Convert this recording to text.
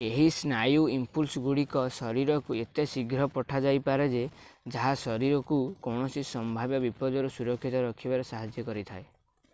ଏହି ସ୍ନାୟୁ ଇମ୍ପୁଲ୍ସ ଗୁଡ଼ିକ ଶରୀରକୁ ଏତେ ଶୀଘ୍ର ପଠାଯାଇପାରେ ଯେ ତାହା ଶରୀରକୁ କୌଣସି ସମ୍ଭାବ୍ୟ ବିପଦରୁ ସୁରକ୍ଷିତ ରଖିବାରେ ସାହାଯ୍ୟ କରିଥାଏ